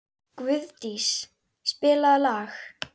Guðdís, spilaðu lag.